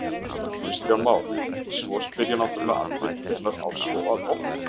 Kristján Már: Svo spyrja náttúrulega allir, hvenær á svo að opna?